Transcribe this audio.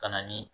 Ka na ni